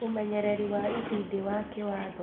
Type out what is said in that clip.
ũmenyereri wa itindiĩ wa kĩwatho